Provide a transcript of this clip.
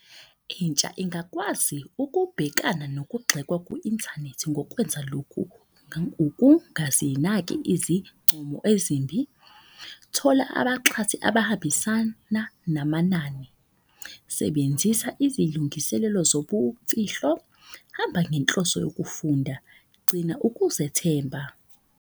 Intsha ingakwazi ukubhekana nokugxekwa kwi-inthanethi ngokwenza lokhu. Ukungazinaki izincomo ezimbi, thola abaxhasi abahambisana namanani, sebenzisa izilungiselelo zobumfihlo. Hamba ngenhloso yokufunda, gcina ukuzethemba.